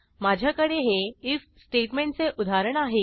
माझ्याकडे हे आयएफ स्टेटमेंटचे उदाहरण आहे